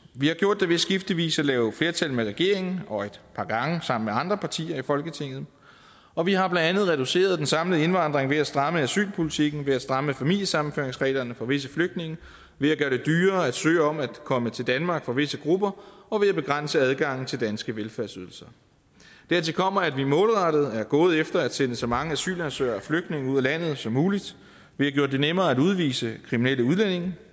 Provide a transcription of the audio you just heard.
vi har gjort det ved skiftevis at lave flertal med regeringen og et par gange sammen med andre partier i folketinget og vi har blandt andet reduceret den samlede indvandring ved at stramme asylpolitikken ved at stramme familiesammenføringsreglerne for visse flygtninge ved at gøre det dyrere at søge om at komme til danmark for visse grupper og ved at begrænse adgangen til danske velfærdsydelser dertil kommer at vi målrettet er gået efter at sende så mange asylansøgere og flygtninge ud af landet som muligt vi har gjort det nemmere at udvise kriminelle udlændinge